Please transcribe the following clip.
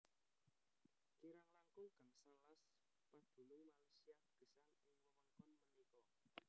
Kirang langkung gangsal las padunung Malaysia gesang ing wewengkon punika